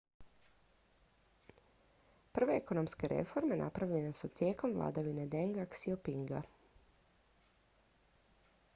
prve ekonomske reforme napravljene su tijekom vladavine denga xiaopinga